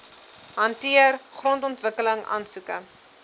hanteer grondontwikkeling aansoeke